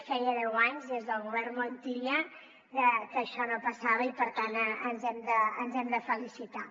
feia deu anys des del govern montilla que això no passava i per tant ens n’hem de felicitar